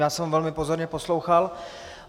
Já jsem ho velmi pozorně poslouchal.